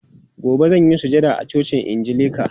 Gobe zan yi sujada a cocin angilika.